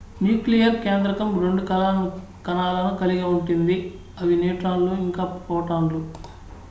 nucleus కేంద్రకం రెండు కణాలను కలిగి ఉంటుంది అవి న్యూట్రాన్లు ఇంకా ప్రోటాన్లు